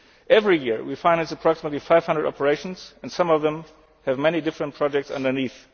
learn. Every year we finance approximately 500 operations, and some of them have many different projects underneath.